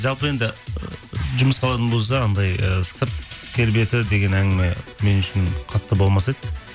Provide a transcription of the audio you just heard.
жалпы енді і жұмысқа алатын болса анандай ы сырт келбеті деген әңгіме мен үшін қатты болмас еді